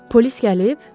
Polis gəlib?